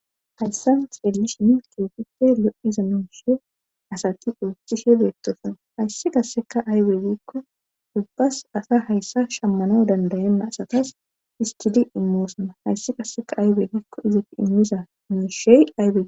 hayssa xellish mintoofite lo7iza nooshe asati ooththishe beettosana hayssi kasseka aybegikko ubbas asa hayssa shammano dandayanna asatas istidi immoosana hayssi qasseka aybeegikko izat immiza mushey aybe